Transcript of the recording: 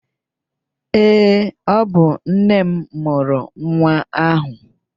Ee, ọ bụ nne m murụ nwa ahụ